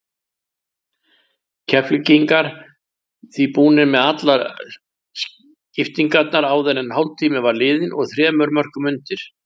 Keflvíkingar því búnir með allar skiptingarnar áður en hálftími var liðinn og þremur mörkum undir.